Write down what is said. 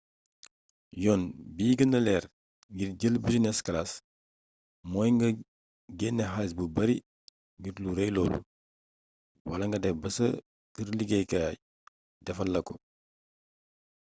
yoon bi gënna leer ngir jël business class mooy nga genne xaalis bu bare ngir lu rey loolu wala nga def ba ca kë liggéeyukaay defal la ko